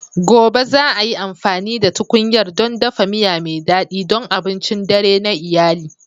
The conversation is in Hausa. Gobe, za ai amfani da tkunyar don dafa miya mai daɗi don abincin dare na iyali.